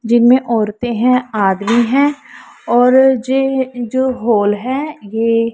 जिनमें औरते हैं आदमी हैं और जे जो होल है ये--